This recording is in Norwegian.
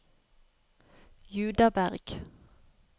Judaberg